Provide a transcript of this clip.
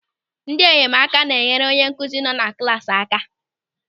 Ndị enyemaka na-enyere onye nkụzi nọ na klasị aka.